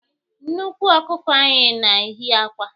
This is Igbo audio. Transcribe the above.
Nnekwu ọkụkọ anyị na-eyi akwa